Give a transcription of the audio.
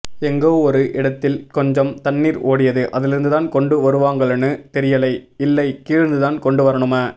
எங்கோ ஒரு இடத்தில் கொஞ்சம் தண்ணீர் ஓடியது அதிலிருந்துதான் கொண்டு வருவாங்களானு தெரியலை இல்லை கீழிருந்துதான் கொண்டு வரணும